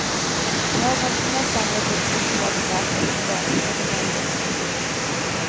Lagom till mässan ges ett uppslagsverk över svenskt underhåll ut.